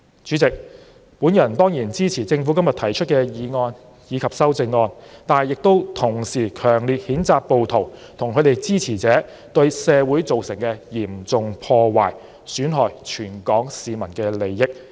主席，我當然支持政府今天提出的《2019年稅務條例草案》及修正案，同時亦強烈譴責暴徒及其支持者對社會造成的嚴重破壞，損害全港市民的利益。